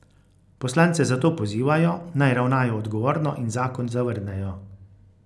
Poslance zato pozivajo, naj ravnajo odgovorno in zakon zavrnejo.